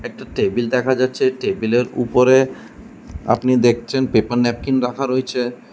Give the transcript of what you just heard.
একটা টেবিল দেখা যাচ্ছে টেবিল এর উপরে আপনি দেখছেন পেপার ন্যাপকিন রাখা রয়েছে।